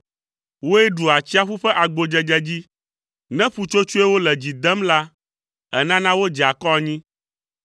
Wòe ɖu atsiaƒu ƒe agbodzedze dzi, ne ƒutsotsoewo le dzi dem la, ènana wodzea akɔ anyi.